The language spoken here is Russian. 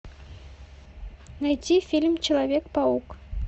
найти фильм человек паук